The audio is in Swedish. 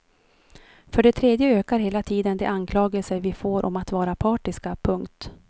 För det tredje ökar hela tiden de anklagelser vi får om att vara partiska. punkt